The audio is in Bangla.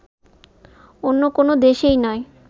অন্য কোন দেশেই নয়